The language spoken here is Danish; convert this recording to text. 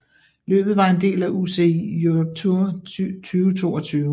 Løbet var en del af UCI Europe Tour 2022